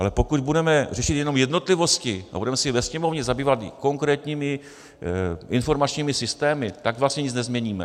Ale pokud budeme řešit jenom jednotlivosti a budeme se ve Sněmovně zabývat konkrétními informačními systémy, tak vlastně nic nezměníme.